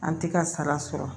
An tɛ ka sara sɔrɔ